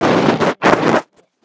Þeirra er valið.